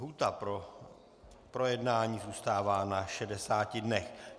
Lhůta pro projednání zůstává na 60 dnech.